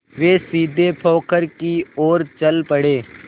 वे सीधे पोखर की ओर चल पड़े